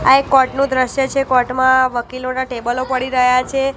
આ એક કોર્ટ નું દ્રશ્ય છે કોર્ટ માં વકીલોના ટેબલો પડી રહ્યા છે.